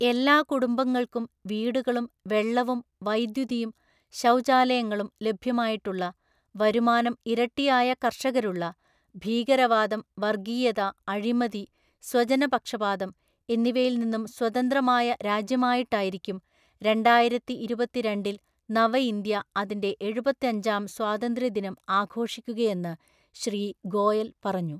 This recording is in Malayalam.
എല്ലാ കുടുംബങ്ങള്‍ക്കും വീടുകളും വെള്ളവും വൈദ്യുതിയും ശൗചാലയങ്ങളും ലഭ്യമായിട്ടുള്ള, വരുമാനം ഇരട്ടിയായ കര്ഷകരുള്ള, ഭീകരവാദം, വര്ഗ്ഗീയത, അഴിമതി, സ്വജനപക്ഷാപാതം എന്നിവയില്‍ നിന്നും സ്വതന്ത്രമായ രാജ്യമായിട്ടായിരിക്കും രണ്ടായിരത്തിഇരുപത്തിരണ്ടില്‍ നവ ഇന്ത്യ അതിന്റെ എഴുപത്തഞ്ചാം സ്വാതന്ത്ര്യ ദിനം ആഘോഷിക്കുകയെന്ന് ശ്രീ ഗോയല്‍ പറഞ്ഞു.